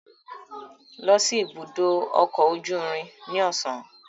Lọ si ibudo ọkọ oju irin ni ọsan